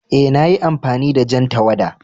Eh, na yi amfani da jan tawada.